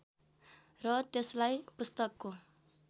र त्यसलाई पुस्तकको